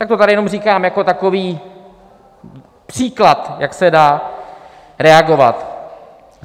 Tak to tady jenom říkám jako takový příklad, jak se dá reagovat.